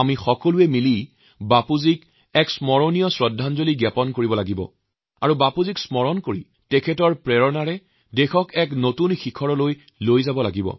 আমি সকলোৱে মিলি বাপুজীৰ এক স্মৰণীয় শ্ৰদ্ধাঞ্জলিৰ আয়োজন কৰো আৰু বাপুজীৰ পৰা প্ৰেৰণা লৈ আমাৰ দেশক উন্নতিৰ শিখৰত উপনীত কৰো